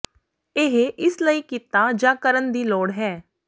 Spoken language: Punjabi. ਇਹ ਇਸ ਲਈ ਕੀਤਾ ਜਾ ਕਰਨ ਦੀ ਲੋੜ ਹੈ